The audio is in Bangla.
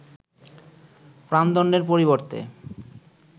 প্রাণদণ্ডের পরিবর্তে